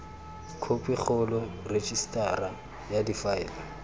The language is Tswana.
khophi kgolo rejisetara ya difaele